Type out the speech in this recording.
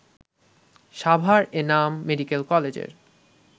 Savar Enam medical কলেজের